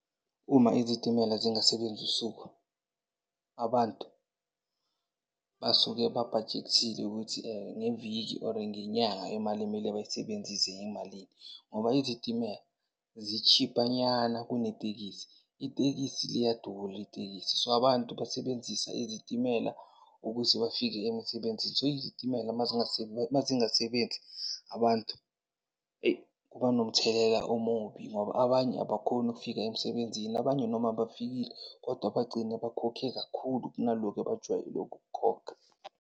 Uma izitimela zingasebenzi usuku, abantu basuke babhajekthile ukuthi, ngeviki or ngenyanga imali ekumele bayisebenzise yimalini ngoba izitimela zi-cheaper-nyana kunetekisi. Itekisi liyadura itekisi. So, abantu besebenzisa izitimela ukuthi bafike emsebenzini. So, izitimela mazingasebenzi, abantu eyi kuba nomthelela omubi ngoba abanye abakhoni ukufika emsebenzini. Abanye noma bafikile, kodwa bagcine bakhokhe kakhulu kunaloku ebajwayele ukukukhokha.